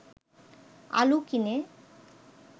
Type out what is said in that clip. আলু কিনে